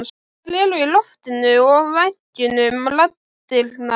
Þær eru í loftinu og veggjunum raddirnar.